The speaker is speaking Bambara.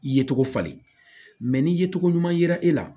Ye cogo falen ni ye togo ɲuman yira e la